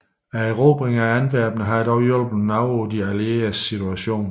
Erobringen af Antwerpen havde dog hjulpet noget på de allieredes situation